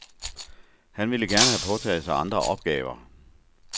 Han ville gerne have påtaget sig andre opgaver.